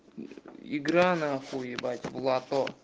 игра на хуй ебать в лото